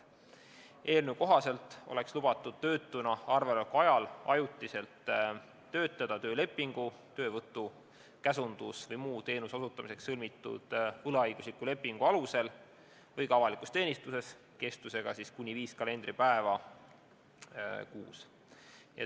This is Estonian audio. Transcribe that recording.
Eelnõu kohaselt oleks lubatud töötuna arvel oleku ajal ajutiselt töötada töölepingu, töövõtu-, käsundus- või muu teenuse osutamiseks sõlmitud võlaõigusliku lepingu alusel või ka avalikus teenistuses kestusega kuni viis kalendripäeva kuus.